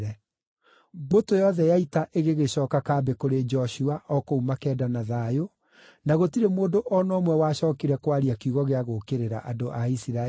Mbũtũ yothe ya ita ĩgĩgĩcooka kambĩ kũrĩ Joshua o kũu Makeda na thayũ, na gũtirĩ mũndũ o na ũmwe wacookire kwaria kiugo gĩa gũũkĩrĩra andũ a Isiraeli.